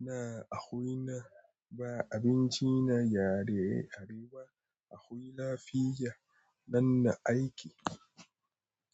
Na akwi na ba abinci na yare Arewa. Akwi lafiya. Nan na aiki.